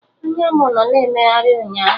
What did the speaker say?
Anya mụ nọ na emegharị ụnyaahụ